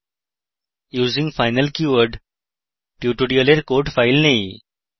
using final keyword tutorial code files নেই